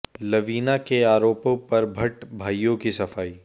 लवीना के आरोपों पर भट्ट भाइयों की सफाई